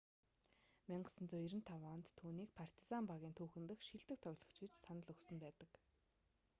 1995 онд түүнийг партизан багийн түүхэн дэх шилдэг тоглогч гэж санал өгсөн байдаг